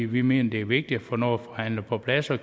vi mener det er vigtigt at få noget forhandlet på plads og